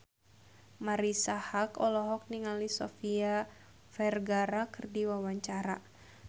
Marisa Haque olohok ningali Sofia Vergara keur diwawancara